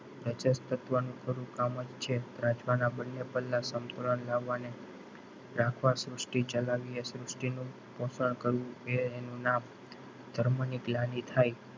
વચ્છસવ તત્વનું થોડું કામજ છે રાજપાના બંને પલ્લા સમતુલા લાવવા અને રાખવા સૃષ્ટિ ચલાવવી એ સૃષ્ટિનું પોષણ કરવું એ એનું નામ ધર્મની ગ્લાનિ થાય.